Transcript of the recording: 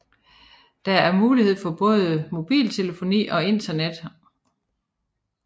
Der er mulighed for både mobiltelefoni og internet